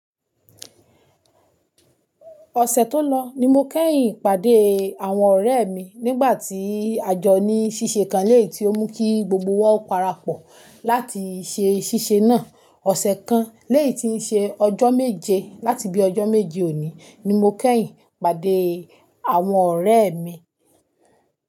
Ọ̀sẹ̀ tó lọ ní mo kẹ́yìn pàdé àwọn ọ̀rẹ́ mi nígbà tí àjọ ní ṣíṣe kan lẹ́yìi tí ó mú kí gbogbo wa o parapọ̀ láti ṣe ṣíṣe náà. Ọ̀sẹ̀ kan lẹ́yìi tí ń ṣe ọjọ́ méje láti bi ọjọ́ méje òní ni mo kẹ́yìn pàdé àwọn ọ̀rẹ́ mi.